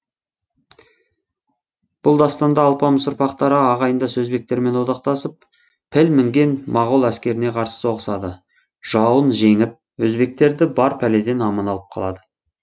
бұл дастанда алпамыс ұрпақтары ағайындас өзбектермен одақтасып піл мінген моғол әскеріне қарсы соғысады жауын жеңіп өзбектерді бар пәледен аман алып қалады